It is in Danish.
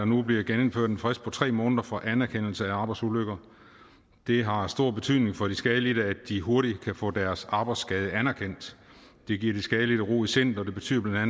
nu bliver genindført en frist på tre måneder for anerkendelse af arbejdsulykker det har stor betydning for de skadelidte at de hurtigt kan få deres arbejdsskade anerkendt det giver de skadelidte ro i sindet og det betyder bla